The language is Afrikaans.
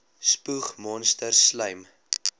spoeg monsters slym